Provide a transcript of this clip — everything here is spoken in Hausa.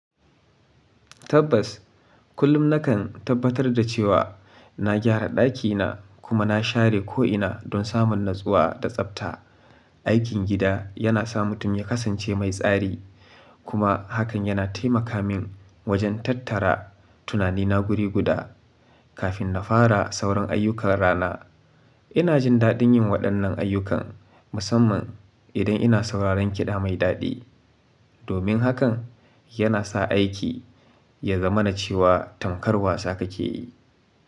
Tabbas, kullum nakan tabbatar da cewa na gyara ɗakina kuma na share ko'ina don samun natsuwa da tsabta. Aikin gida yana sa mutum ya kasance mai tsari kuma hakan yana taimaka min wajen tattara tunanina guri guda kafin na fara sauran ayyukan rana. Ina jin daɗin yin waɗannan ayyukan, musamman idan ina sauraron kiɗa mai daɗi. Domin hakan, yana sa aiki ya zamana cewa tankar wasa kake yi.